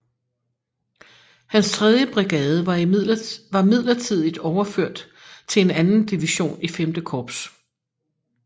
Hans tredje brigade var midlertidigt overført til en anden division i V Korps